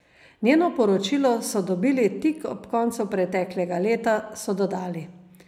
Njeno poročilo so dobili tik ob koncu preteklega leta, so dodali.